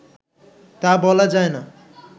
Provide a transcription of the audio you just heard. তা বলা যায়না